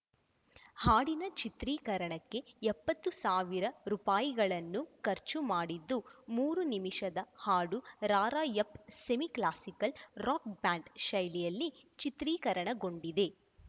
ಹಾಡಿನ ಚಿತ್ರೀಕರಣಕ್ಕೆ ಎಪ್ಪತ್ತು ಸಾವಿರ ರೂಪಾಯಿಗಳನ್ನು ಖರ್ಚು ಮಾಡಿದ್ದು ಮೂರು ನಿಮಿಷದ ಹಾಡು ರಾರ‍ಯಪ್‌ಸ್ ಸೆಮಿ ಕ್ಲಾಸಿಕಲ್‌ ರಾಕ್‌ ಬ್ಯಾಂಡ್‌ ಶೈಲಿಯಲ್ಲಿ ಚಿತ್ರೀಕರಣಗೊಂಡಿದೆ